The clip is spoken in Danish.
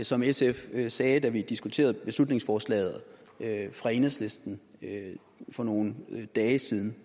som sf sagde da vi diskuterede beslutningsforslaget fra enhedslisten for nogle dage siden